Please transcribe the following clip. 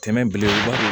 Tɛmɛn belebelebaw